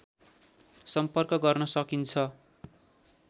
सम्पर्क गर्न सकिन्छ